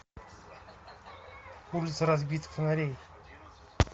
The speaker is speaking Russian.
улица разбитых фонарей